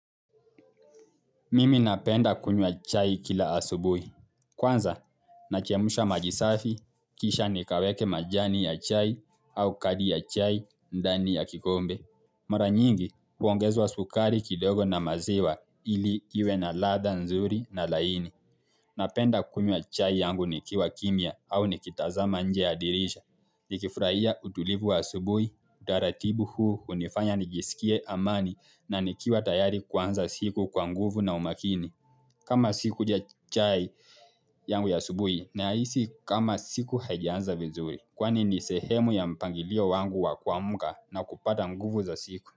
Mimi napenda kunywa chai kila asubuhi. Kwanza, nachemsha maji safi, kisha nikaweke majani ya chai au kadi ya chai, ndani ya kikombe. Mara nyingi, huongezwa sukari kidogo na maziwa ili iwe na ladha nzuri na laini. Napenda kunywa chai yangu nikiwa kimya au nikitazama nje ya dirisha. Nikifurahia utulivu wa asubuhi, utaratibu huu, hunifanya nijisikie amani na nikiwa tayari kuanza siku kwa nguvu na umakini. Kama sikunywa chai yangu ya asubuhi nahisi kama siku hajianza vizuri. Kwani ni sehemu ya mpangilio wangu wa kuamuka na kupata nguvu za siku.